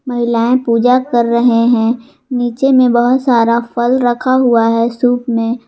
महिलाएं पूजा कर रहे है नीचे में बहोत सारा फल रखा हुआ है सुप में।